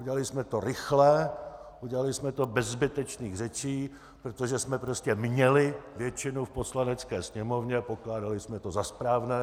Udělali jsme to rychle, udělali jsme to bez zbytečných řečí, protože jsme prostě měli většinu v Poslanecké sněmovně, pokládali jsme to za správné.